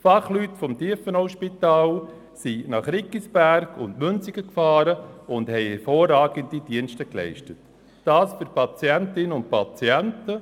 Fachleute des Tiefenauspitals fuhren nach Riggisberg und Münsingen und leisteten dort Hervorragendes für die Patientinnen und Patienten.